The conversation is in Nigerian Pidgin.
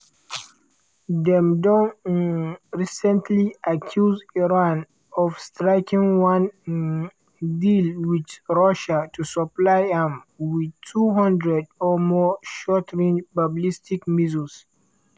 dem don um recently accuse iran of striking one um deal wit russia to supply am wit 200 or more short-range ballistic missiles.